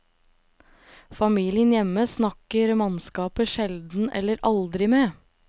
Familien hjemme snakker mannskapet sjelden eller aldri med.